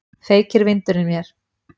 Feykir vindurinn mér.